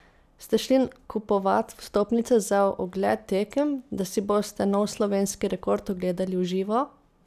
Ste šli kupovat vstopnice za ogled tekem, da si boste nov slovenski rekord ogledali v živo?